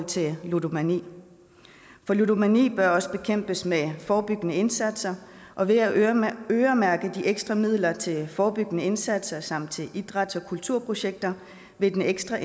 til ludomani for ludomani bør også bekæmpes med forebyggende indsatser og ved at øremærke øremærke de ekstra midler til forebyggende indsatser samt til idræts og kulturprojekter vil den ekstra